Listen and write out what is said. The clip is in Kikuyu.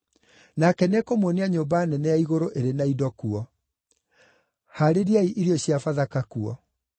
Nake nĩekũmuonia nyũmba nene ya igũrũ ĩrĩ na indo kuo. Haarĩriai irio cia Bathaka kuo.”